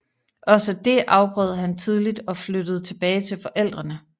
Også det afbrød han tidligt og flyttede tilbage til forældrene